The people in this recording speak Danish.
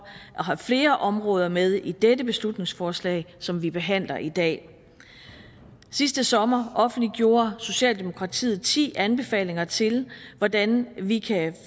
have flere områder med i dette beslutningsforslag som vi behandler i dag sidste sommer offentliggjorde socialdemokratiet ti anbefalinger til hvordan vi kan